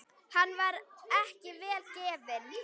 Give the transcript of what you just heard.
Hann var ekki vel gefinn.